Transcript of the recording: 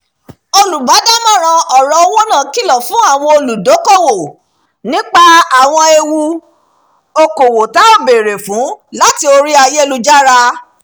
olùbádámọ̀ràn ọ̀rọ̀ owó náà kìlọ̀ fún àwọn olùdókòwò nípa àwọn ewu okòwò ta ò bèèrè fún lórí ayélujára